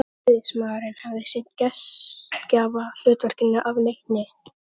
Ræðismaðurinn hafði sinnt gestgjafahlutverkinu af leikni.